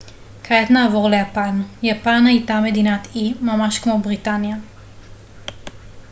כעת נעבור ליפן יפן הייתה מדינת אי ממש כמו בריטניה